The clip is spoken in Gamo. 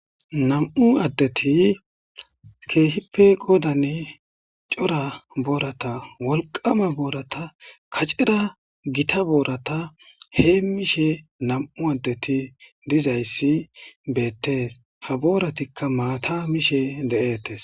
Nam'u adeti keehippe qodan daro cora boorata wolqama.noorata kacera gita boorata hemishe nam'u adeti dizaysi betes, ha booratika maata mishe de'etes